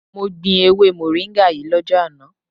Mo gbin ewe moringa yii lojo ana